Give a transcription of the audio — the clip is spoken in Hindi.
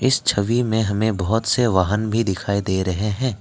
इस छवि में हमें बहुत से वाहन भी दिखाई दे रहे हैं।